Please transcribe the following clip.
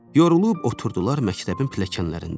Yorulub oturdular məktəbin pilləkənlərində.